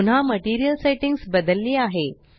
पुन्हा material settings बदलली आहे